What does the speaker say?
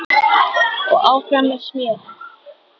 Og áfram með smérið.